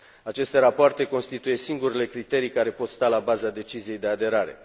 Aceste rapoarte constituie singurele criterii care pot sta la baza deciziei de aderare.